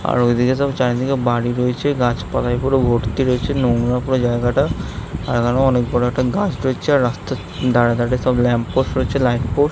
আর ঐদিকে সব চারিদিকে বাড়ি রয়েছে | গাছ পালাই পুরো ভর্তি রয়েছে নোংরা পুরো জায়গাটা অদুরে অনেক বড় একটা গাছ রয়েছে রাস্তার ধরে ধরে সব ল্যাম্প পোস্ট রয়েছে ল্যাম্প পোস্ট --